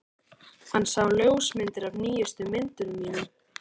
Hann sá ljósmyndir af nýjustu myndunum mínum.